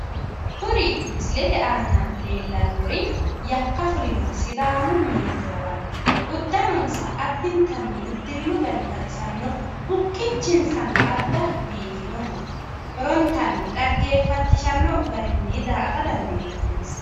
Kuri misilete aana leellannori yakka fulinoha sidaamu meento lawanno. Uddanonsa addintanni uddirino gari baxisanno. Bukkichinsano adda biifinoho. Horontanni xaggeeffachishanno garinni daa"ata dandiinanninsa.